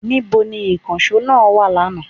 Níbo ni ìkànsó náà wa lánàá?